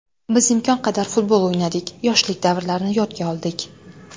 Biz imkon qadar futbol o‘ynadik, yoshlik davrlarini yodga oldik.